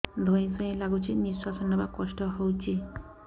ଧଇଁ ସଇଁ ଲାଗୁଛି ନିଃଶ୍ୱାସ ନବା କଷ୍ଟ ହଉଚି